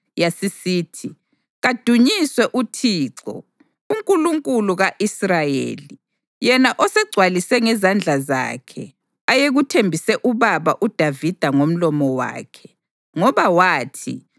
Yasisithi: “Kadunyiswe uThixo, uNkulunkulu ka-Israyeli, yena osegcwalise ngezandla zakhe ayekuthembise ubaba uDavida ngomlomo wakhe. Ngoba wathi,